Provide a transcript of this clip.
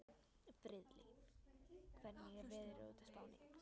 Friðleif, hvernig er veðurspáin?